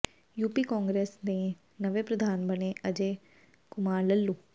UP Congress ਦੇ ਨਵੇਂ ਪ੍ਰਧਾਨ ਬਣੇ ਅਜੈ ਕੁਮਾਰ ਲੱਲੂ